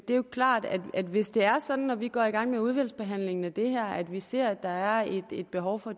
det er jo klart at hvis det er sådan når vi går i gang med udvalgsbehandlingen af det her at vi ser at der er et behov for